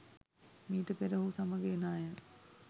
මීට පෙර ඔහු සමග එන අය